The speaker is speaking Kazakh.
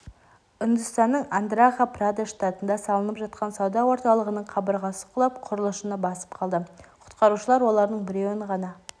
үндістанның андхра-прадеш штатында салынып жатқан сауда орталығының қабырғасы құлап құрылысшыны басып қалды құтқарушылар олардың біреуін ғана